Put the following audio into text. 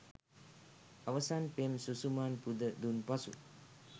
අවසන් පෙම් සුසුමත් පුද දුන් පසු